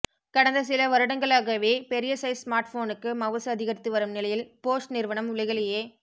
கடந்த சில வருடங்களாகவே பெரிய சைஸ் ஸ்மார்ட்போனுக்கு மவுசு அதிகரித்து வரும் நிலையில் போஷ் நிறுவனம் உலகிலேயே